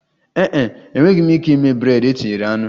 Ee e, enweghị m ike ịme bred e tinyere anụ